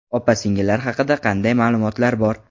Opa-singillari haqida qanday ma’lumotlar bor?